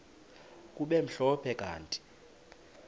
kube mhlophe kanti